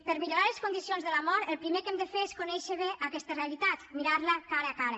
per a millorar les condicions de la mort el primer que hem de fer és conèixer bé aquesta realitat mirar la cara a cara